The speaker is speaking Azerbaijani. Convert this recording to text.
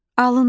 Alındı!